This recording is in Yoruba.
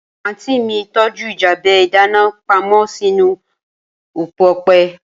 Aunty mi tọju ljabe idana pamo sinu opo ọpẹ